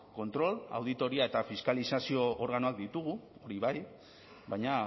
kontrol auditoria eta fiskalizazio organoak ditugu hori bai baina